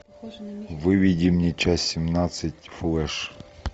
выведи мне часть семнадцать флэш